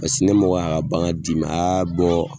Paseke ni mɔgɔ ye a bagan di ma a y'a bɔ